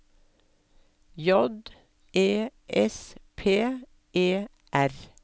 J E S P E R